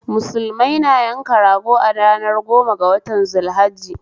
Musulmai na yanka rago a ranar goma ga watan zul hajji